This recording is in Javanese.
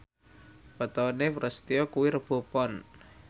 wetone Prasetyo kuwi Rebo Pon